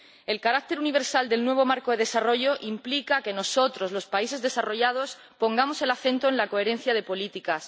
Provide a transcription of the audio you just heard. El carácter universal del nuevo marco de desarrollo implica que nosotros, los países desarrollados, pongamos el acento en la coherencia de las políticas.